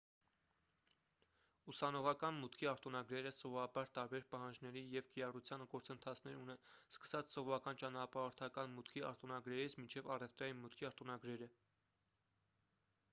ուսանողական մուտքի արտոնագրերը սովորաբար տարբեր պահանջների և կիրառության գործընթացներ ունեն սկսած սովորական ճանապարհորդական մուտքի արտոնագրերից մինչև առևտրային մուտքի արտոնագրերը